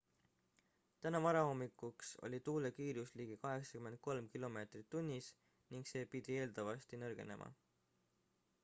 täna varahommikuks oli tuule kiirus ligi 83 km/h ning see pidi eeldatavasti nõrgenema